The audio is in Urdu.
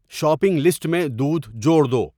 شاپنگ لسٹ میں دودھ جوڑ دو